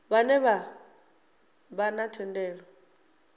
vhane vha vha na thendelo